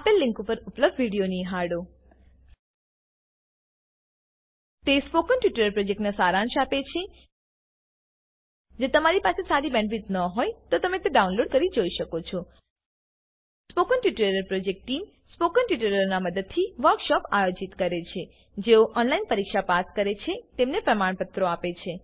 આપેલ લીંક પર ઉપલબ્ધ વિડીયો નિહાળો httpspoken tutorialorgwhat is a spoken tutorial તે સ્પોકન ટ્યુટોરીયલ પ્રોજેક્ટનો સારાંશ આપે છે જો તમારી પાસે સારી બેન્ડવિડ્થ ન હોય તો તમે તેને ડાઉનલોડ કરીને જોઈ શકો છો સ્પોકન ટ્યુટોરીયલ ટીમ સ્પોકન ટ્યુટોરીયલોનો ઉપયોગ કરીને વર્કશોપોનું આયોજન કરે છે જેઓ ઓનલાઈન પરીક્ષા પાસ થાય છે તેઓને પ્રમાણપત્રો આપે છે